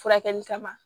Furakɛli kama